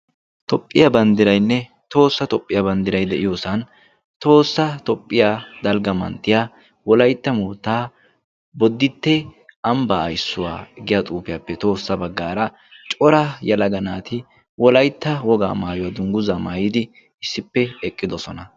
Tophphiyaa banddirainne toossa tophphiyaa banddirai de'iyoosan toossa tophphiya dalgga manttiya wolaitta moottaa boditte ambbaa ayssuwaa giya xuufiyaappe toossa baggaara cora yalaga naati wolaytta wogaa maayuwaa dungguza maayidi issippe eqqidosona.